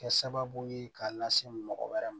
Kɛ sababu ye k'a lase mɔgɔ wɛrɛ ma